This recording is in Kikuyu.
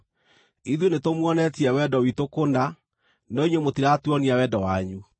Ithuĩ nĩtũmuonetie wendo witũ kũna no inyuĩ mũtiratuonia wendo wanyu.